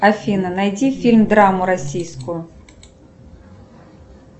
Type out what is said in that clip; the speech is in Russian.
афина найди фильм драму российскую